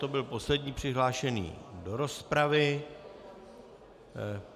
To byl poslední přihlášený do rozpravy.